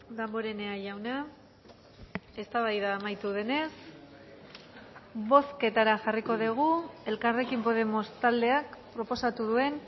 damborenea jauna eztabaida amaitu denez bozketara jarriko dugu elkarrekin podemos taldeak proposatu duen